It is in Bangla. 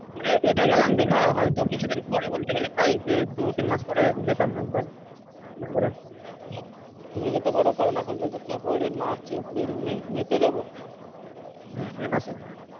মানে এটা গেলাম দিঘা হয়তো কিছুদিন পরে বলতে গেলে প্রায়ই যে দু তিন মাস পরে যেতাম একবার সময় করে হ্যাঁ তুমি যেতো পারো কারন এখন যেহেতু ফেব্রুয়ারি মার্চ এপ্রিল মে মে তে যাবো আহ মে মাসে হ্যা